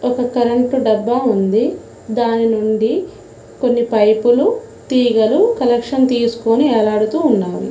ఒక కరెంటు డబ్బా ఉంది దాని నుండి కొన్ని పైపులు తీగలు కలెక్షన్ తీసుకొని ఎలాడుతూ ఉన్నవి.